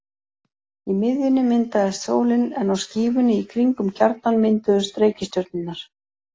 Í miðjunni myndaðist sólin en á skífunni í kring um kjarnann mynduðust reikistjörnurnar.